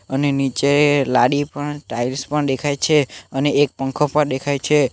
અને નીચે લાદી પણ ટાઇલ્સ પણ દેખાઈ છે અને એક પંખો પણ દેખાઈ છે.